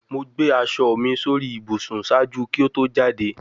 Mo gbe aṣọ mi sori ibusun ṣaaju ki o to jade